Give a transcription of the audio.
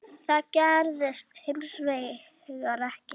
Það gerðist hins vegar ekki.